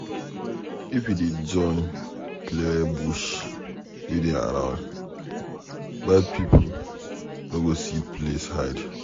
If we dey join clear bush wey dey around, bad pipo no go see place hide.